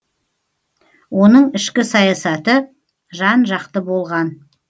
оның ішкі саясаты жан жақты болған